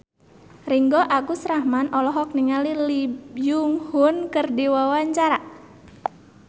Ringgo Agus Rahman olohok ningali Lee Byung Hun keur diwawancara